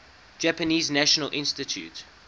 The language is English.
japanese national institute